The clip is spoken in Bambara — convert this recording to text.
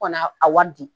Ka na a wari di